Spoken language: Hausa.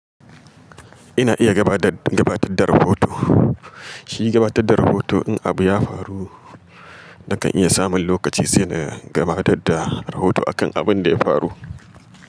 Ina iya gabatar gabatar da rahoto. Shi gabatar da rahoto in abu ya faru, nakan iya samun lokaci sai na gabatar da rahoto akan abin da ya faru.